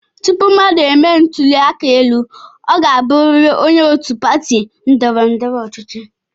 Tupu mmadụ e mee ntụli aka elu, ọ ga-abụrịrị onye òtù pati ndọrọ ndọrọ ọchịchị.